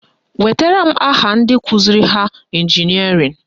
Wetara m aha ndị kụziri ha ịnjinịarịn!